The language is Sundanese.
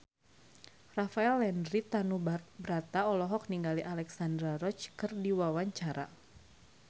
Rafael Landry Tanubrata olohok ningali Alexandra Roach keur diwawancara